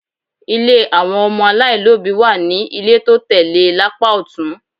Ilé àwọn ọmọ aláìlóbìí wà ní ilé tó tẹ̀ lé e lápá ọ̀tún